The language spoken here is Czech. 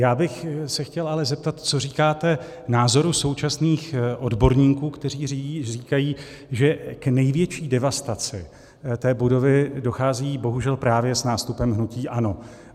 Já bych se chtěl ale zeptat, co říkáte názoru současných odborníků, kteří říkají, že k největší devastaci té budovy dochází bohužel právě s nástupem hnutí ANO.